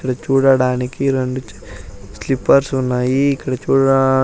ఈడ చూడడానికి రెండు చ స్లిప్పర్స్ ఉన్నాయి ఇక్కడ చూడ--